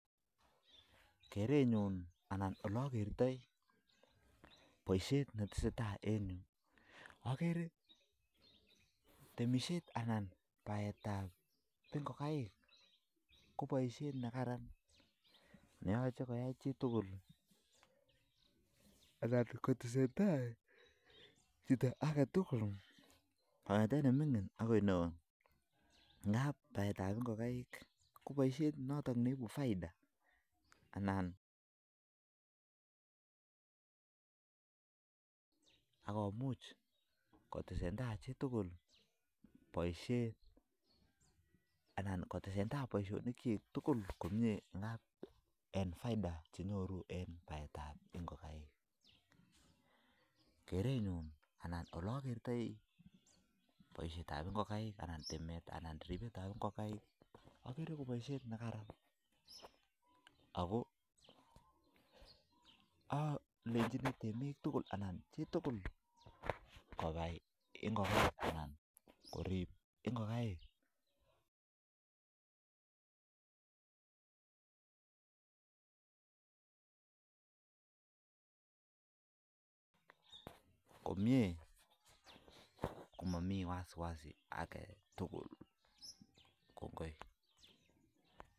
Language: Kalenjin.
Kerenyun anan olakertei boishet netesetai En yu akerei timesheet anan kobaet ab ngokaik ako magat kotesetai chitugul kongete chi neo akoi neming'in amuu ibu faita ako kerenyun amu boisyoni akerei kokaraean akalenchini bik tugul koyai boishet nii akorib ngokaik komamii wasi wasi